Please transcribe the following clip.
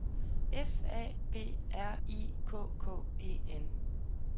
F A B R I K K E N